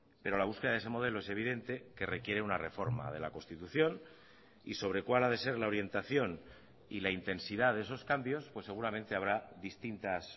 pero la búsqueda de ese modelo es evidente que requiere una reforma de la constitución y sobre cuál ha de ser la orientación y la intensidad de esos cambios pues seguramente habrá distintas